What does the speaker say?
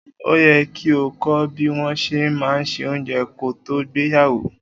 O yẹ́ ki o kọ́ bí wọn ṣe má ń ṣe óunjẹ ko tó gbéyàwó.